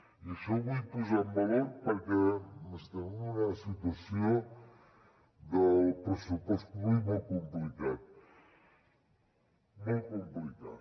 i això ho vull posar en valor perquè estem en una situació del pressupost públic molt complicada molt complicada